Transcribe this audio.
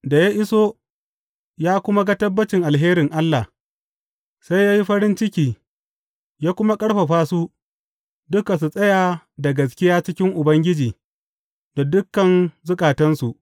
Da ya iso ya kuma ga tabbacin alherin Allah, sai ya yi farin ciki ya kuma ƙarfafa su duka su tsaya da gaskiya cikin Ubangiji da dukan zukatansu.